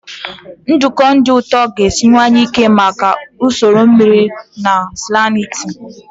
Nduku dị ụtọ ga-esiwanye ike maka ụkọ mmiri ozuzo na salinity.